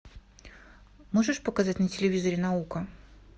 можешь показать на телевизоре наука